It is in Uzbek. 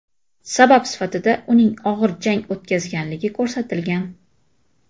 Sabab sifatida uning og‘ir jang o‘tkazganligi ko‘rsatilgan.